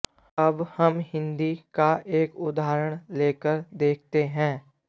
अब हम हिन्दी का एक उदाहण लेकर देखते है